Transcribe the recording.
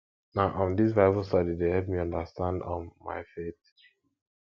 na um dis bible study dey help me understand um my faith